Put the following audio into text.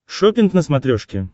шоппинг на смотрешке